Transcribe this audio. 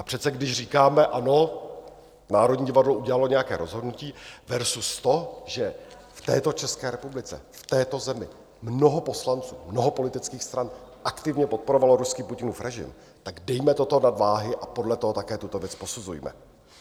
A přece když říkáme: Ano, Národní divadlo udělalo nějaké rozhodnutí versus to, že v této České republice, v této zemi mnoho poslanců, mnoho politických stran aktivně podporovalo ruský Putinův režim, tak dejme toto na váhy a podle toho také tuto věc posuzujme.